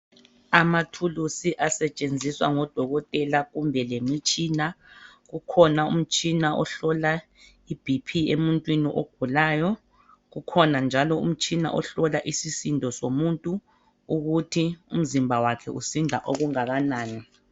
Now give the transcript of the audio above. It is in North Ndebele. Amathulusi asetshenziswa ngodokotela kumbe lemitshina kukhona umtshina ohlola iBp emuntwini ogulayo kukhona njalo umtshina ohlola isisindo somuntu ukuthi umzimba wakhe usinda okungakanani.